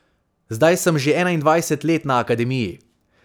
Zdaj sem že enaindvajset let na akademiji.